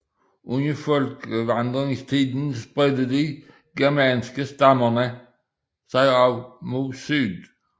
Under folkevandringstiden spredte de germanske stammer sig også mod syd